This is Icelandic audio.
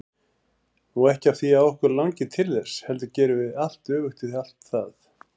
Ekki af því að okkur langi til þess, heldur gerum við allt öfugt við allt.